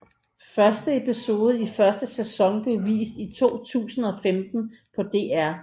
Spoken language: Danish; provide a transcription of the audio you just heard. Første episode i første sæson blev vist i 2015 på DR